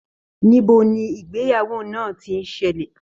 Níbo ni ìgbéyàwó náà tí n ṣẹlẹ?